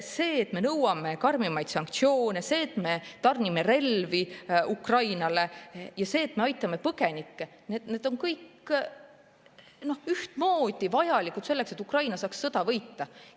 See, et me nõuame karmimaid sanktsioone, see, et me tarnime relvi Ukrainale, ja see, et me aitame põgenikke – see on kõik ühtmoodi vajalik selleks, et Ukraina saaks sõja võita.